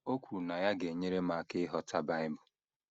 “ O kwuru na ya ga - enyere m aka ịghọta Bible.